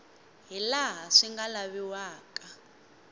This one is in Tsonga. hi laha swi nga laviwaka